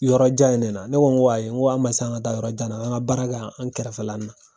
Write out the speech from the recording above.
Yɔrɔ jan in ne na. Ne ko ayi n ko a ma se an ka taa yɔrɔ jan na ,k'an ka baara kɛ yan an kɛrɛfɛ la na.